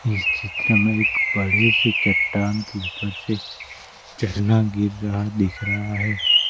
इस चित्र में एक बड़े से चट्टान के ऊपर से झरना गिर रहा दिख रहा है।